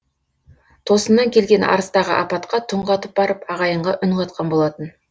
тосыннан келген арыстағы апатқа түнқатып барып ағайынға үн қатқан болатын